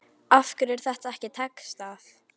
Af hverju er þetta ekki textað?